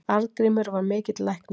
Arngrímur var mikill læknir.